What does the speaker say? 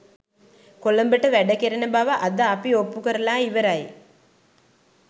කොළඹට වැඩ කෙරෙන බව අද අපි ඔප්පු කරලා ඉවරයි